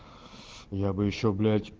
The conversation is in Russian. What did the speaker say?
я бы ещё блять